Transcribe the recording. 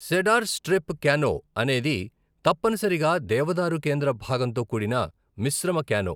Cedar strip canoe అనేది తప్పనిసరిగా దేవదారు కేంద్ర భాగంతో కూడిన మిశ్రమ క్యానో.